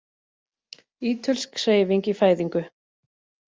Ítölsk Hreyfing í fæðingu